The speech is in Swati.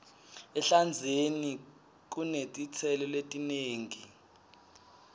ehlandzeni kunetitselo letinengi